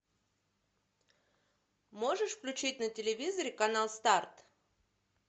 можешь включить на телевизоре канал старт